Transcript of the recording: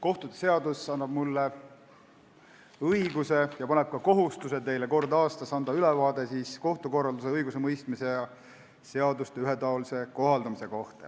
Kohtute seadus annab mulle õiguse ja paneb mulle ka kohustuse anda teile kord aastas ülevaade kohtukorralduse, õigusemõistmise ja seaduste ühetaolise kohaldamise kohta.